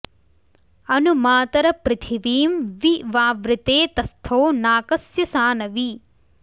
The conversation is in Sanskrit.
अनु॑ मा॒तरं॑ पृथि॒वीं वि वा॑वृते त॒स्थौ नाक॑स्य॒ सान॑वि